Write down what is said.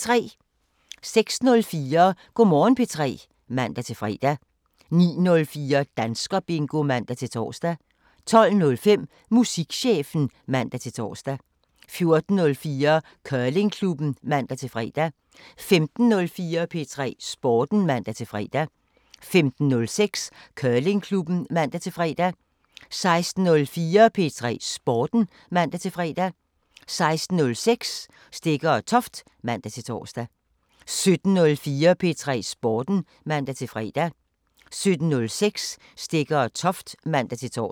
06:04: Go' Morgen P3 (man-fre) 09:04: Danskerbingo (man-tor) 12:05: Musikchefen (man-tor) 14:04: Curlingklubben (man-fre) 15:04: P3 Sporten (man-fre) 15:06: Curlingklubben (man-fre) 16:04: P3 Sporten (man-fre) 16:06: Stegger & Toft (man-tor) 17:04: P3 Sporten (man-fre) 17:06: Stegger & Toft (man-tor)